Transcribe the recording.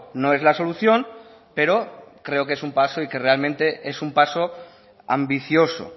no es la solución pero creo que es un paso y que realmente es un paso ambicioso